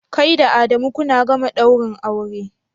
Kai da Adamu kuna gama daurin aure?